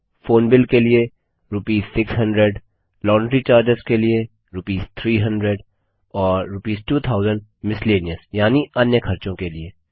phone bill के लिए rupees 600 laundry charges के लिए रूपीस 300 और रूपीस 2000 मिसेलेनियस यानि अन्य खर्चों के लिए